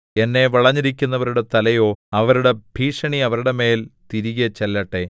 എന്നെ വളഞ്ഞിരിക്കുന്നവരുടെ തലയോ അവരുടെ ഭീഷണി അവരുടെ മേല്‍ തിരികെ ചെല്ലട്ടെ